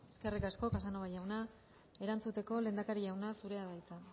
eskerrik asko casanova jauna erantzuteko lehendakari jauna zurea da hitza